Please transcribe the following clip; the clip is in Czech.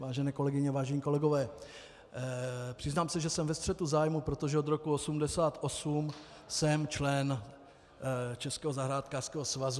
Vážené kolegyně, vážení kolegové, přiznám se, že jsem ve střetu zájmů, protože od roku 1988 jsem členem Českého zahrádkářského svazu.